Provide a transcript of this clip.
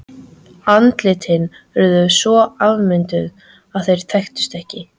Andlitin urðu svo afmynduð að þeir þekktust ekki.